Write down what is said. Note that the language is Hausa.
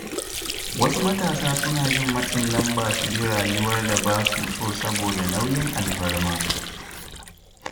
Wasu matasa suna jin matsin lamba su bi rayuwar da ba su so saboda nauyin alfarma.